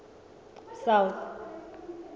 south